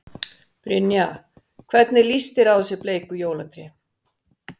Brynja: Hvernig líst þér á þessi bleiku jólatré?